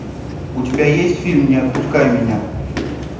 у тебя есть фильм не отпускай меня